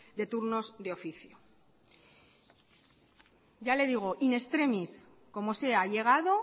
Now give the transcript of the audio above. de turnos de oficio ya le digo in extremis como sea ha llegado